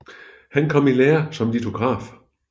Han kom i lære som litograf